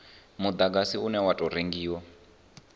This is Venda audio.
mudagasi une wa tou rengiwa